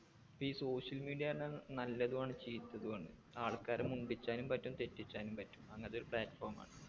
പ്പോ ഈ social media പറഞ്ഞാ നല്ലതുആണ് ചീത്തതുആണ് ആൾക്കാരെ മുണ്ടിച്ചാനും പറ്റും തെറ്റിച്ചാനും അങ്ങത്തെ ഒരു platform ആണ്